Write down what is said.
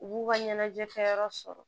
U b'u ka ɲɛnajɛ kɛyɔrɔ sɔrɔ